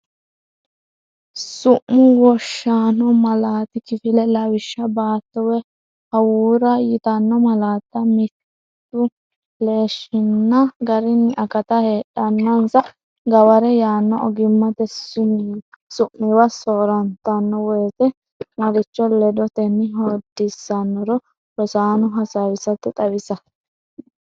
Su’mu wonshaano Malaati kifile Lawishsha Baatto woy hawuura yitanno malaatta mittuleellinshanni garinna akatta heedhannansa gaware yaanno ogimmate su’miwa soor- rantanno wote maricho ledotenni hoodissannoro rosaano hasaawisatenni xawisa.